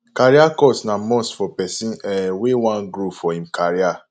career course na must for pesin um wey wan grow for im career